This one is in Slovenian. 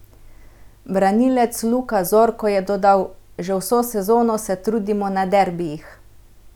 Branilec Luka Zorko je dodal: "Že vso sezono se trudimo na derbijih.